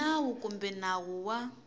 hi nawu kumbe nawu wa